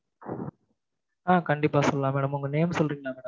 ஆஹ் கண்டிப்பா சொல்லலாம் mam உங்க name சொல்றீங்களா mam